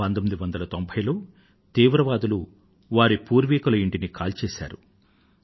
1990లో తీవ్రవాదులు వారి పూర్వీకుల ఇంటిని కాల్చివేశారు